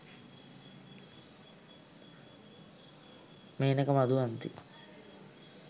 menaka maduwanthi